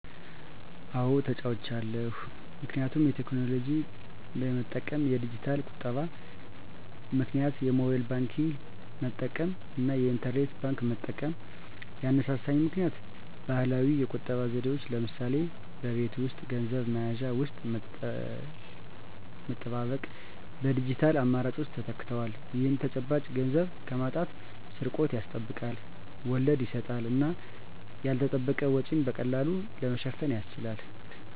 አዎ ተለዉጫለሁ ምክንያቱም የቴክኖሎጂ በመጠቀም (የዲጂታል ቁጠባ) -ምክንያት የሞባይል ባንክንግ መጠቀም እና የኢንተርኔት ባንክ መጠቀም። ያነሳሳኝ ምክኒያት ባህላዊ የቁጠባ ዘዴዎች (ለምሳሌ በቤት ውስጥ ገንዘብ መያዣ ውስጥ መጠባበቅ) በዲጂታል አማራጮች ተተክተዋል። ይህ ተጨባጭ ገንዘብን ከማጣት/ስርቆት ያስጠብቃል፣ ወለድ ይሰጣል እና ያልተጠበቀ ወጪን በቀላሉ ለመሸፈን ያስችላል።